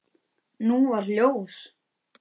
Nú varð ljós.